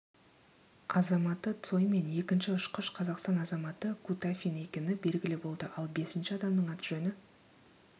азаматы цой мен екінші ұшқыш қазақстан азаматы кутафин екені белгілі болды ал бесінші адамның аты-жөні